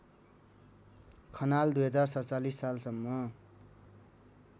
खनाल २०४७ सालसम्म